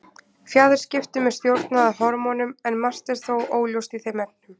Fjaðurskiptum er stjórnað af hormónum, en margt er þó óljóst í þeim efnum.